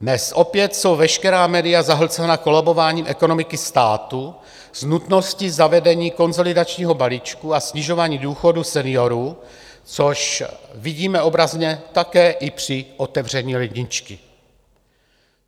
Dnes opět jsou veškerá média zahlcena kolabováním ekonomiky státu s nutností zavedení konsolidačního balíčku a snižování důchodů seniorů, což vidíme obrazně také i při otevření ledničky.